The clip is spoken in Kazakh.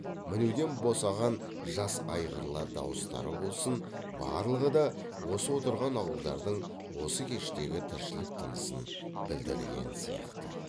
мінуден босаған жас айғырлар дауыстары болсын барлығы да осы отырған ауылдардың осы кештегі тіршілік тынысын білдірген сияқты